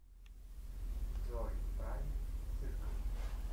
джой прайм циркл